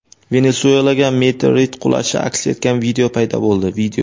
Venesuelaga meteorit qulashi aks etgan video paydo bo‘ldi.